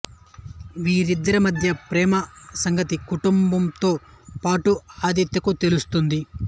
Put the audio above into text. వీరిద్దరి మధ్య ప్రేమ సంగతి కుటుంబంతో పాటు ఆదిత్యకు తెలుస్తోంది